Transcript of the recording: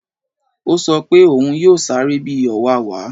Ó sọ pé òún yóò sáré bi ọ̀wàwà